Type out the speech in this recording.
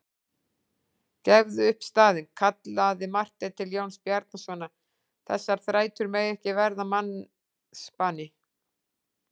Gefðu upp staðinn, kallaði Marteinn til Jóns Bjarnasonar,-þessar þrætur mega ekki verða mannsbani.